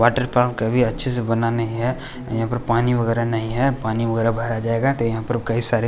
water park अभी अच्छे से बना नहीं है यहां पर पानी वगैरा नहीं है पानी वगैरा भरा जाएगा तो यहां पर कई सारे --